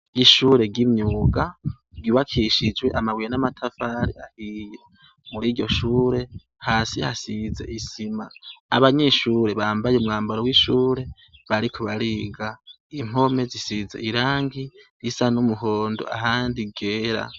Ishure ry'imyuga ryiwakishijwe amabuye n'amatafari ahiya muri ryo shure hasi hasize isima abanyishure bambaye umwambaro w'ishure barikubariga impome zisiza irangi risa n'umuhondo ahandi gera.